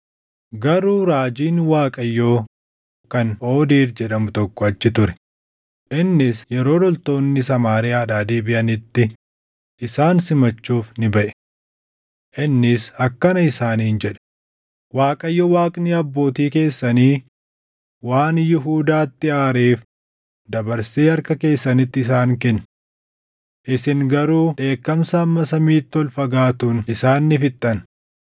Garuu raajiin Waaqayyoo kan Oodeed jedhamu tokko achi ture; innis yeroo loltoonni Samaariyaadhaa deebiʼanitti isaan simachuuf ni baʼe. Innis akkana isaaniin jedhe; “ Waaqayyo Waaqni abbootii keessanii waan Yihuudaatti aareef dabarsee harka keessanitti isaan kenne. Isin garuu dheekkamsa hamma samiitti ol fagaatuun isaan ni fixxan.